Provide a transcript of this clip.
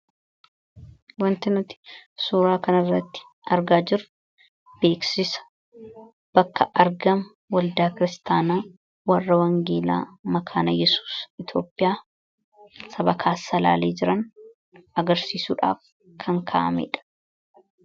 wanti nuti suuraa kanirratti argaa jiru beeksisa bakka arga waldaa kiristaanaa warra wangeelaa makaana yesuus itioopiyaa sabakaas salaalii jiran agarsiisuudhaaf kan kaa'ameedha